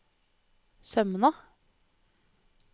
Sømna